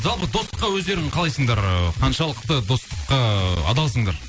жалпы достыққа өздерің қалайсыңдар ыыы қаншалықты достыққа ыыы адалсыңдар